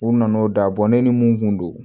U nana n'o da ne ni mun kun don